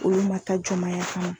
Olu man taa jɔnmaaya kama.